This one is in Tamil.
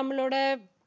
நம்மளோட